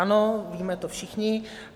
Ano, víme to všichni.